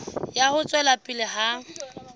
ya ho tswela pele ha